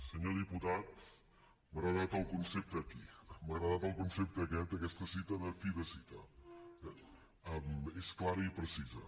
senyor diputat m’ha agradat el concepte aquí m’ha agradat el concepte aquest aquesta cita de fi de cita eh és clara i precisa